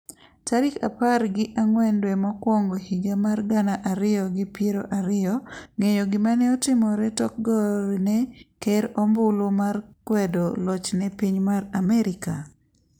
tarik apar gi ang'wen dwe mokwongo higa mar gana ariyo gi piro ariyo ng'eyo gima ne otimore tokgone ker ombulu mar kwedo lochne piny mar amerka?